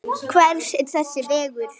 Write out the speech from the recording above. Hver er þessi vegur?